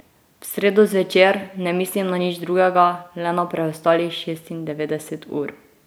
V sredo zvečer ne mislim na nič drugega, le na preostalih šestindevetdeset ur.